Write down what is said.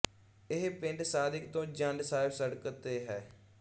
ਇਹ ਪਿੰਡ ਸਾਦਿਕ ਤੋਂ ਜੰਡ ਸਾਹਿਬ ਸੜਕ ਤੇ ਹੈ